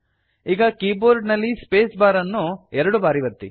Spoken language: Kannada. ಈಗ ಕೀಬೋರ್ಡ್ ನಲ್ಲಿ ಸ್ಪೇಸ್ ಬಾರ್ ಅನ್ನು ಎರಡು ಬಾರಿ ಒತ್ತಿ